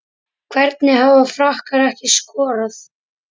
Hvernig hafa Frakkar ekki skorað?